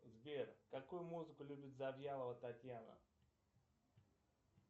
сбер какую музыку любит завьялова татьяна